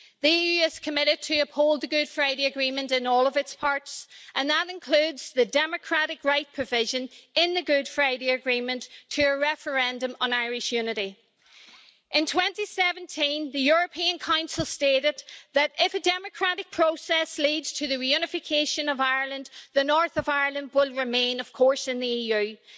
The EU is committed to upholding the Good Friday Agreement in all of its parts, and that includes the democratic right provided for in the Good Friday Agreement to a referendum on Irish unity. In 2017, the European Council stated that if a democratic process leads to the reunification of Ireland, the North of Ireland will remain, of course, in the EU.